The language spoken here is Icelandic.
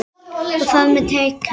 Og þar með tekjur.